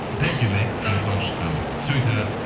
соңғы шыққан